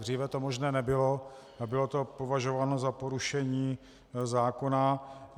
Dříve to možné nebylo a bylo to považováno za porušení zákona.